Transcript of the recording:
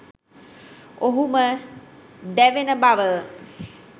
ඔහුම දැවෙන බව